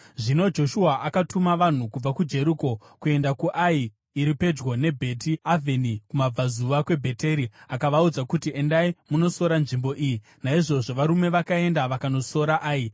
Zvino Joshua akatuma vanhu kubva kuJeriko kuenda kuAi, iri pedyo neBheti Avheni kumabudazuva kweBheteri, akavaudza kuti, “Endai munosora nzvimbo iyi.” Naizvozvo varume vakaenda vakanosora Ai.